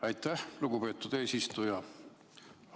Aitäh, lugupeetud eesistuja!